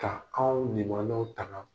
Ka anw limaanaw taga